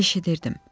Eşidirdim.